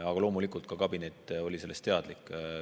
Aga loomulikult oli ka kabinet sellest teadlik.